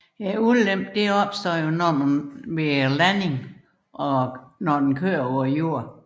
Ulempen opstår ved selve landingen og kørsel på jorden